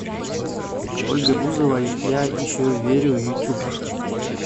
ольга бузова я еще верю ютуб